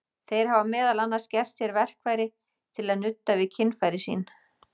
Þeir hafa meðal annars gert sér verkfæri til að nudda við kynfæri sín.